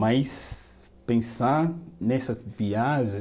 Mas pensar nessa viagem